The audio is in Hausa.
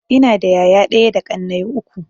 Ina da yaya ɗaya da ƙannai uku.